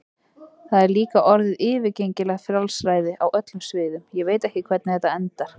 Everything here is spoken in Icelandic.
Það er líka orðið yfirgengilegt frjálsræði á öllum sviðum, ég veit ekki hvernig þetta endar.